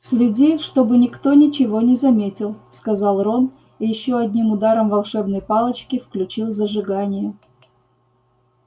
следи чтобы никто ничего не заметил сказал рон и ещё одним ударом волшебной палочки включил зажигание